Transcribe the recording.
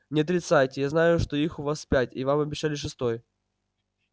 не отрицайте я знаю что их у вас пять и вам обещали шестой